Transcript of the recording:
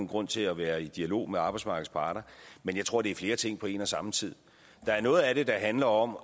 grund til at være i dialog med arbejdsmarkedets parter men jeg tror det er flere ting på en og samme tid der er noget af det der handler om